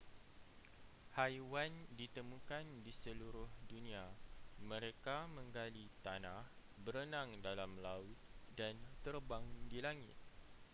haiwan ditemukan di seluruh dunia mereka menggali tanah berenang dalam laut dan terbang di langit